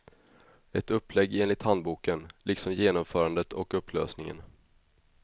Ett upplägg enligt handboken, liksom genomförandet och upplösningen.